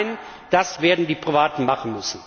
Nein, das werden die Privaten machen müssen.